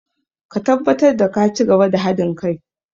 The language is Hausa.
Ka tabbatar da ka cigaba da ba da hadin kai!